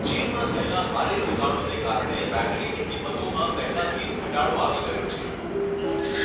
ચીનમાં થયેલા ભારે રોકાણોને કારણે બૅટરીની કિંમતોમાં પહેલાથી જ ઘટાડો આવી ગયો છે.